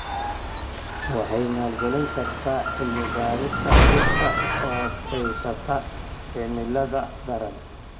Waxay maalgelin kartaa cilmi-baarista dhirta u adkeysata cimilada daran.